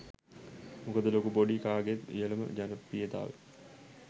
මොකද ලොකු පොඩි කාගෙත් ඉහලම ජනප්‍රියතාව